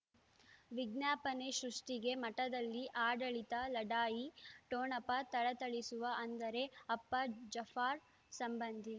ವಿಜ್ಞಾಪನೆ ಸೃಷ್ಟಿಗೆ ಮಠದಲ್ಲಿ ಆಡಳಿತ ಲಢಾಯಿ ಠೊಣಪ ಥಳಥಳಿಸುವ ಅಂದರೆ ಅಪ್ಪ ಜಫರ್ ಸಂಬಂಧಿ